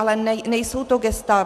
Ale nejsou to gesta.